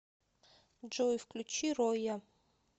джой включи роя